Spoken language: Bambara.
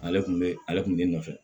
Ale tun bɛ ale tun bɛ nɔfɛ